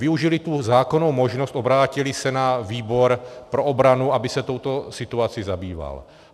Využili tu zákonnou možnost, obrátili se na výbor pro obranu, aby se touto situací zabýval.